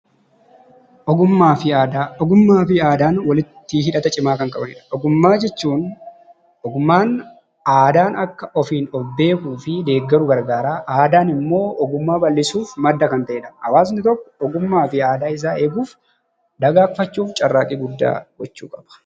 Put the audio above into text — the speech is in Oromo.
Ogummaafi aadaa, ogummaafi aadaan walitti hidhata cimaa kan qabanidha. Ogummaa jechuun, ogummaan aadaan akka ofiin of beekuufi deeggaru garagaara. Aadaanimmoo ogummaa bal'isuuf madda kan ta'edha . Hawaasni tokko ogummaafi aadaa isaa eeguuf, dagaagfachuuf carraaqqii guddaa gochuu qaba.